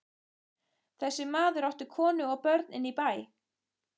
Þessi maður átti konu og börn inní bæ.